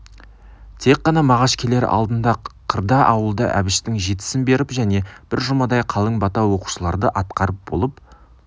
тек қана мағаш келер алдында қырда ауылда әбіштің жетісін беріп және бір жұмадай қалың бата оқушыларды атқарып болып